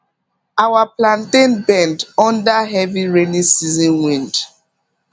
our plantain bend under heavy rainy season wind